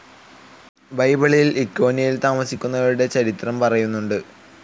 ബൈബിളിൽ ഇക്കോന്യയിൽ താമസിക്കുന്നവരുടെ ചരിത്രം പറയുന്നുണ്ട്.